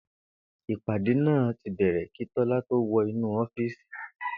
Ìpàdé náà ti bè̩rè̩ kí Tó̩lá tó wo̩ inú ó̩fíìsì